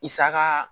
I saga